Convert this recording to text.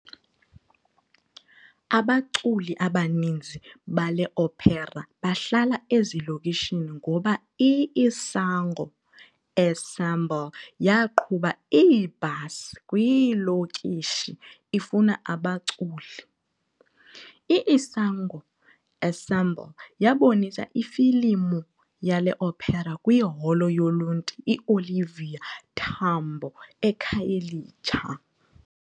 Abaculi abaninzi bele opera bahlala ezilokishini ngoba i-Isango Ensemble yaqhuba iibhasi kwiilokishi ifuna abaculi. I-Isango Ensemble yabonisa ifilimu yale opera kwiholo yoluntu iOliver Tambo eKhayelitsha.